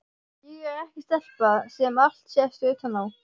Ég er ekki stelpa sem allt sést utan á.